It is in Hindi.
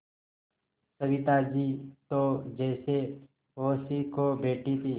सविता जी तो जैसे होश ही खो बैठी थीं